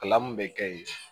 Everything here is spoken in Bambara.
Kalan min bɛ kɛ yen